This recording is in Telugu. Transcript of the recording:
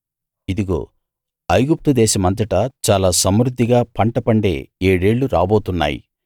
ఇదిగో ఐగుప్తు దేశమంతటా చాలా సమృద్ధిగా పంట పండే ఏడేళ్ళు రాబోతున్నాయి